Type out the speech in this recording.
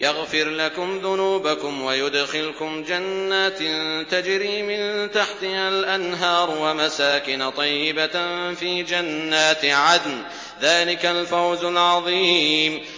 يَغْفِرْ لَكُمْ ذُنُوبَكُمْ وَيُدْخِلْكُمْ جَنَّاتٍ تَجْرِي مِن تَحْتِهَا الْأَنْهَارُ وَمَسَاكِنَ طَيِّبَةً فِي جَنَّاتِ عَدْنٍ ۚ ذَٰلِكَ الْفَوْزُ الْعَظِيمُ